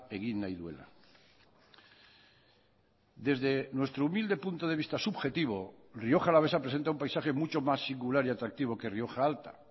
egin nahi duela desde nuestro humilde punto de vista subjetivo rioja alavesa presenta un paisaje mucho más singular y atractivo que rioja alta